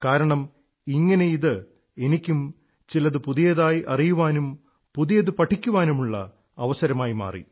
കാരണം ഇങ്ങനെ ഇത് എനിക്കും ചിലതു പുതിയതായി അറിയാനും പുതിയതു പഠിക്കാനുമുള്ള അവസരമായി മാറി